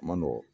A man nɔgɔn